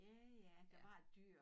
Ja ja du har et dyr